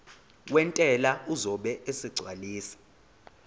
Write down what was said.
wentela uzobe esegcwalisa